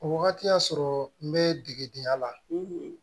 O wagati y'a sɔrɔ n bɛ degedenya la